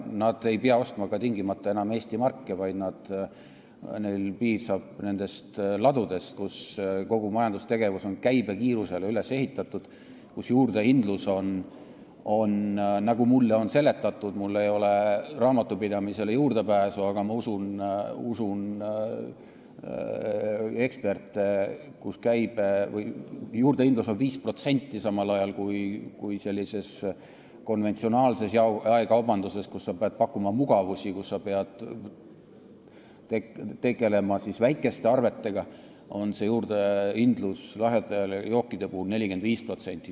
Enam ei pea tegelema tingimata ka Eesti markidega, vaid piisab nendest ladudest, kus kogu majandustegevus on käibe kiirusele üles ehitatud ja kus juurdehindlus on – mulle on nii seletatud, mul ei ole raamatupidamisele juurdepääsu, aga ma usun eksperte – 5%, samal ajal kui konventsionaalses jaekaubanduses, kus peab pakkuma mugavusi ja tegelema väikeste arvetega, on lahjade jookide juurdehindlus 45%.